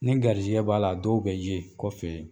Ni garisigɛ b'a la dɔw bɛ ye kɔfɛ